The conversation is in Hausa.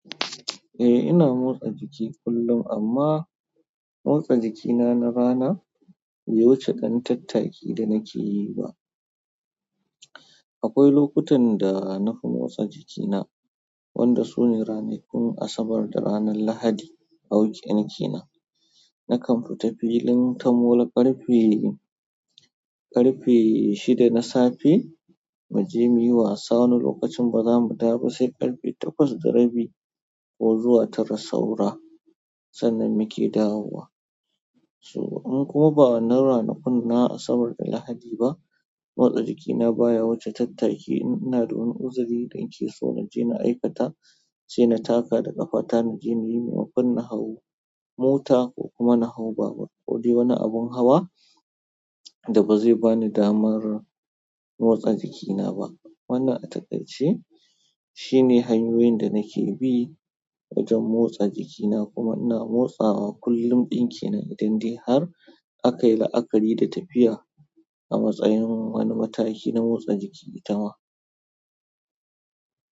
Eh ina motsa jiki kullum amma motsa jikina na rana bai wuce ɗan tattaki da nake yi ba. Akwai lokutan da na fi motsa jikina, wanda su ne ranakun Asabar da ranar Lahadi a weekend kenan. Nakan fita filin ta mola ƙarfe, ƙarfe shida na safe, mu je muyi wasa wani lokacin ba za mu dawo ba sai ƙarfe takwas da rabi ko zuwa tara saura, sannan muke dawowa. Ko ba na ranakun Asabar da Lahadi ba, motsa jikina baya wuce tattaki. Ina da wani uzuri danke so na je na aikata, sai na taka da ƙafa ta muje muyi domin mu hau mota ko kuma na hau babur ko wani abun hawa da ba zai ba ni damar motsa jikina ba. Wannan atakaice shi hanyoyin da nake bi wajen motsa jikina kuma ina motsawa kullum ɗin ke nan in dai har aka yi la'akari da tafiya a matsayin wani mataki na motsa jiki itama.